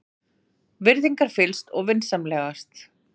Virðingarfyllst og vinsamlegast.